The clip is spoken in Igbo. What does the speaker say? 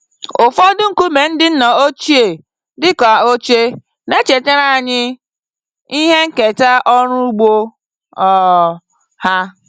Ụfọdụ nkume ndị nna ochie dị ka oche, na-echetara anyị ihe nketa ọrụ ugbo um ha.